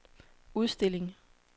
udstilling